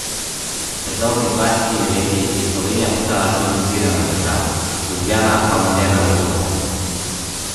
Pred dobrimi dvajsetimi leti je Slovenija postala civilizirana država, Ljubljana pa moderna metropola.